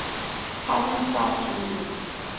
cousin twice removed